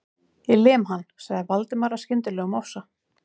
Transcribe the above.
Ég lem hann.- sagði Valdimar af skyndilegum ofsa